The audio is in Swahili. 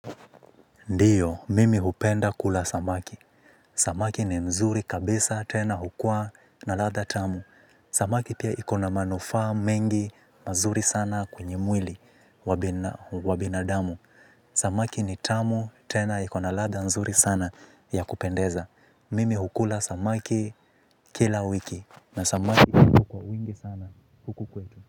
Ndiyo, mimi hupenda kula samaki. Samaki ni mzuri kabisa tena hukua na ladha tamu. Samaki pia iko na manufaa mengi mazuri sana kwenye mwili wa binadamu. Samaki ni tamu tena iko na ladha nzuri sana ya kupendeza. Mimi hukula samaki kila wiki na samaki hupikwa kwa wingi sana huku kwetu.